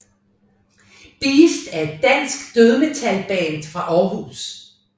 BAEST er et dansk dødsmetalband fra Aarhus